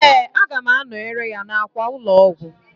Ee, aga m anọyere ya n'akwa ụlọọgwụ.